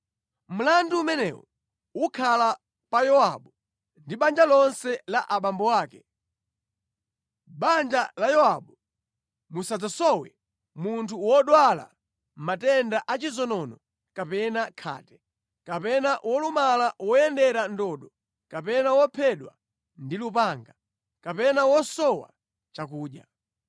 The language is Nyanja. Mlandu umenewu ukhala pa Yowabu ndi banja lonse la abambo ake! Mʼbanja la Yowabu musadzasowe munthu wodwala matenda a chizonono kapena khate, kapena wolumala woyendera ndodo kapena wophedwa ndi lupanga, kapena wosowa chakudya.”